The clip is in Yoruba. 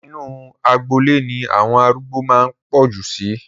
Inu agboolé ni àwọn arúgbó máa ń pọ̀ jù sí